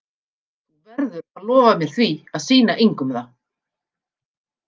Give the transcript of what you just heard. Þú verður að lofa mér því að sýna engum það.